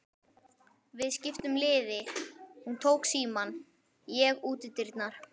Við skiptum liði, hún tók símann, ég útidyrnar.